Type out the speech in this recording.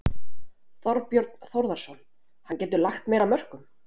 Þorbjörn Þórðarson: Hann getur lagt meira af mörkum?